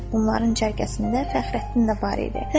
Onların cərgəsində Fəxrəddin də var idi.